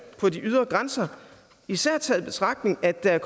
på de ydre grænser især taget i betragtning at der